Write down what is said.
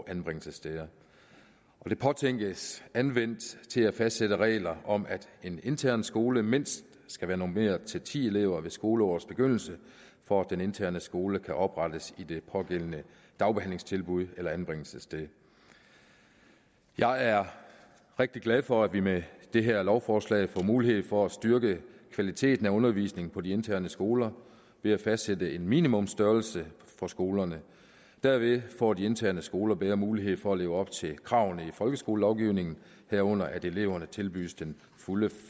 anbringelsessteder det påtænkes anvendt til at fastsætte regler om at en intern skole mindst skal være normeret til ti elever ved skoleårets begyndelse for at den interne skole kan oprettes i det pågældende dagbehandlingstilbud eller anbringelsessted jeg er rigtig glad for at vi med det her lovforslag får mulighed for at styrke kvaliteten af undervisningen på de interne skoler ved at fastsætte en minimumstørrelse for skolerne derved får de interne skoler bedre mulighed for at leve op til kravene i folkeskolelovgivningen herunder at eleverne tilbydes den fulde